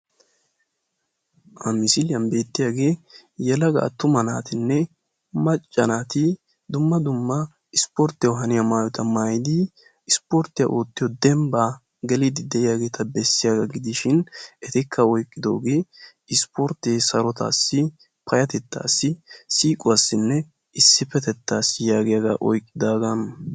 Ha misiliyaan bettiyaagee yelaga attuma naatinne macca naati dumma dumma isporttiyaawu haaniyaa maayuwaa maayidi dembbaa geliidi de'iyaageta bessiyaaga gidishin etikka oyqqidogee isporttee sarotettaassi payatettaassi siiquwaassi isipetettaassi yaagiyaagaa oyqqidagaa.